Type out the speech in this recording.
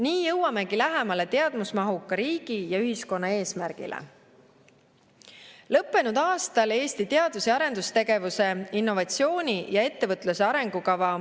Nii jõuamegi lähemale teadmusmahuka riigi ja ühiskonna eesmärgile.